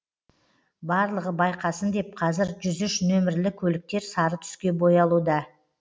барлығы байқасын деп қазір жүз үш нөмірлі көліктер сары түске боялуда